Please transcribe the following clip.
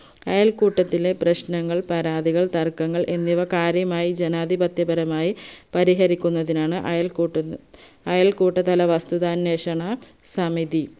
അയൽക്കൂട്ടത്തിലെ പ്രശ്നങ്ങൾ പരാതികൾ തർക്കങ്ങൾ എന്നിവ കാര്യമായി ജനാധിപത്യപരമായി പരിഹരിക്കുന്നതിനാണ് അയൽക്കൂട്ട അയൽക്കൂട്ടതല വസ്തുത അന്വേഷണ സമിതി